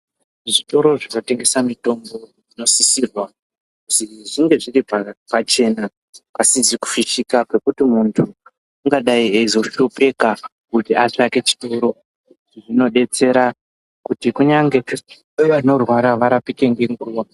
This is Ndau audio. Zvitoro zvinotengesa mitombo zvinosisirwa kuti zvinge zviripachena pasizi kufishika nekuti muntu engadai ezoshupika kuti atsvake..zvinobetsera kunyangwe vanorwara varapike nenguva .